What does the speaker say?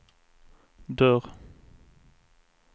dörr